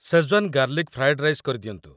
Schezwan garlic fried rice କରିଦିଅନ୍ତୁ।